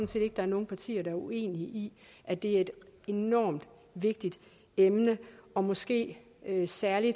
set ikke der er nogle partier der er uenige i at det er et enormt vigtigt emne og måske særlig